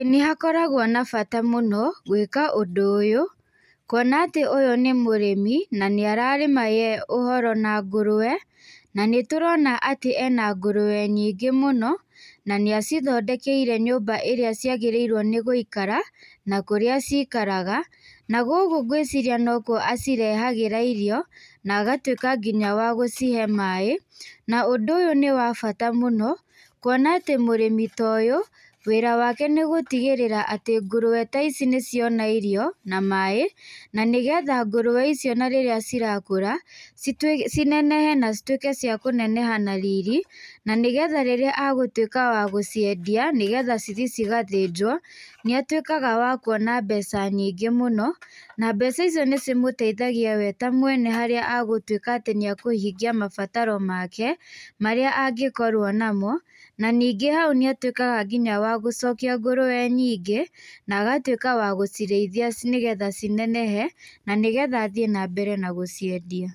Ĩ nĩhakoragwo na bata mũno, gwĩka ũndũ ũyũ, kuona atĩ ũyũ nĩ mũrĩmi, nanĩararĩma ye ũhoro na ngũrwe, nanĩtũrona atĩ ena ngũrwe nyingĩ mũno, nanĩacithondekeire nyũmba ĩrĩa ciagĩrĩirwo nĩ gũikara, na kũrĩa cikaraga, na gũkũ ngwĩciria nokuo acirehagĩra irio, nangatwĩka nginya wa gũcihe maĩ, na ũndũ ũyũ nĩwa bata mũno, kuona atĩ mũrĩmi ta ũyũ, wĩra wake nĩgũtigĩrĩra atĩ ngurwe ta ici nĩciona irio na maĩ, nanĩgetha ngũrwe ici ona rĩrĩa cirakũra, citwĩ cinenehe na citwĩke cia kũneneha na riri, na nĩgetha rĩrĩa agũtwĩka wa gũciendia, nĩgetha cithiĩ cigathĩnjwo, nĩatwĩkaga wa kuona mbeca nyingĩ mũno, na m,beca icio nĩcimũteithagia we ta mwene harĩa agũtwĩka atĩ nĩakũhingia mabataro make, marĩa angĩkorwo namo, na ningĩ hau nĩatwĩkaga nginya wa gũcokia ngũrwe nyingĩ, nagatwĩka wa ci gũcirĩithia nĩgetha cinenehe, nanĩgetha a thiĩ nambere na gũciendia.